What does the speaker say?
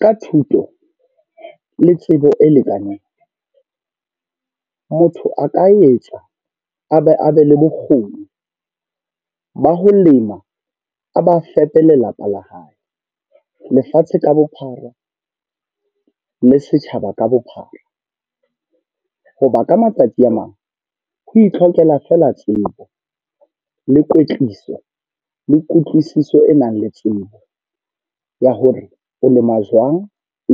Ka thuto, le tsebo e lekaneng. Motho a ka etsa, a be a be le bokgoni ba ho lema. A ba a fepe lelapa la hae, lefatshe ka bophara, le setjhaba ka bophara. Hoba ka matsatsi a mang, ho itlhokela feela tsebo, le kwetliso, le kutlwisiso e nang le tsebo ya hore o lema jwang